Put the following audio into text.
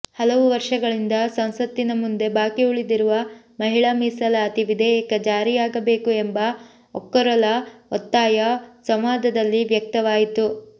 ಹಲವು ವರ್ಷಗಳಿಂದ ಸಂಸತ್ತಿನ ಮುಂದೆ ಬಾಕಿ ಉಳಿದಿರುವ ಮಹಿಳಾ ಮೀಸಲಾತಿ ವಿಧೇಯಕ ಜಾರಿಯಾಗಬೇಕು ಎಂಬ ಒಕ್ಕೊರಲ ಒತ್ತಾಯ ಸಂವಾದದಲ್ಲಿ ವ್ಯಕ್ತವಾಯಿತು